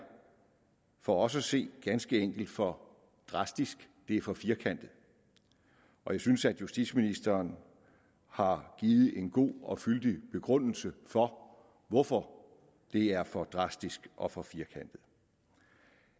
for os at se ganske enkelt for drastisk det er for firkantet og jeg synes at justitsministeren har givet en god og fyldig begrundelse for hvorfor det er for drastisk og for firkantet